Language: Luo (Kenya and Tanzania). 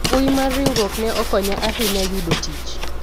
mbui mar riwruok ne okonya ahinya yudo tich